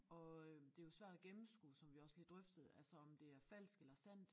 Og øh det jo svært at gennemskue som vi også lige drøftede altså om det er falsk eller sandt